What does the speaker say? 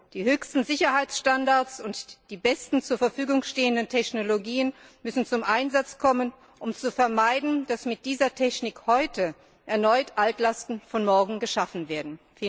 Die höchsten Sicherheitsstandards und die besten zur Verfügung stehenden Technologien müssen zum Einsatz kommen, um zu vermeiden, dass mit dieser Technik heute erneut Altlasten von morgen geschaffen werden.